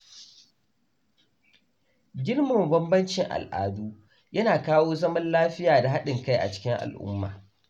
Girmama bambancin al’adu yana kawo zaman lafiya da haɗin kai cikin al-umma